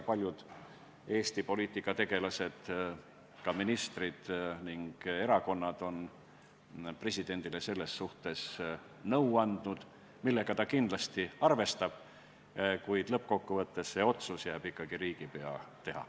Paljud Eesti poliitikategelased, ka ministrid ning erakonnad on presidendile nõu andnud, millega ta kindlasti arvestab, kuid lõppkokkuvõttes jääb see otsus ikkagi riigipea teha.